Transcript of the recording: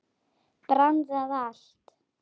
Brann það allt?